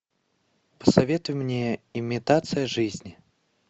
посоветуй мне имитация жизни